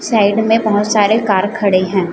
Side में बहोत सारे कार खड़े हैं।